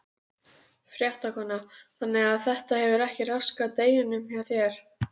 Fréttakona: Þannig að þetta hefur ekki raskað deginum hjá þér?